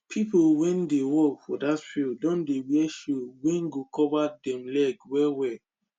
pple wey dey work for that field don dey wear shoe wey go dey cover dem leg well well